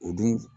O dun